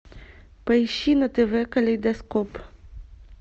поищи на тв калейдоскоп